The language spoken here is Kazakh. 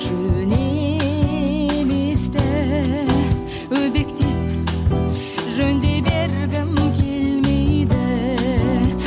жөн еместі өбектеп жөн дей бергім келмейді